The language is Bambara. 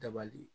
Dabali